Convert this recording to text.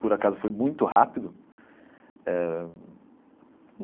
Por acaso foi muito rápido eh.